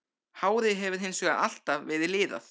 Hárið hefur hins vegar alltaf verið liðað.